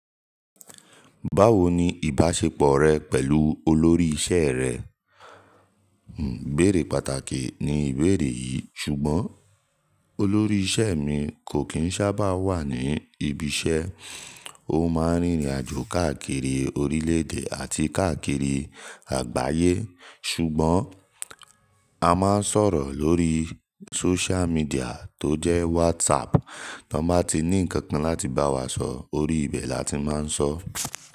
Báwo ni ìbáṣepọ̀ rẹ pẹ̀lú olórí iṣẹ́ rẹ? iBéèrè pàtàkì ni ìbéèrè yìí, ṣùgbọ́n olórí iṣẹ́ mi kò kí ń sábà wà ní ibi iṣẹ́. Ó máa ń rìnrìn àjò káàkiri orílẹ̀ èdè àti káàkiri àgbáyé. Ṣùgbọ́n, a máa ń sọ̀rọ̀ lórí social media tó jẹ́ WhatsApp. Tọ bá ti ní ǹkan kan láti bá wa sọ̀, orí ibẹ̀ làti máa ń sọ.